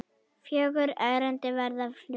Fjögur erindi verða flutt.